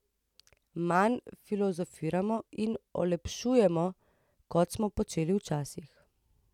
Manj filozofiramo in olepšujemo, kot smo počeli včasih.